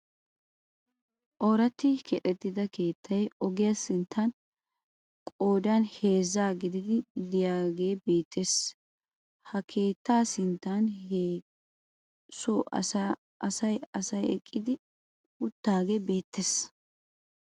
Oraatti keexettida keettay ogiyaa sinttan qoodan heezzaa gididi de'iyaagee beettees. ha keettaa sinttan he soo asay asay eqqi uttaagee beettees.